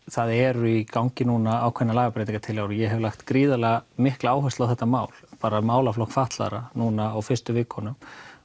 það eru í gangi ákveðnar lagabreytingatillögur og ég hef lagt gríðarlega mikla áherslu á þetta mál málaflokk fatlaðra núna á fyrstu vikunum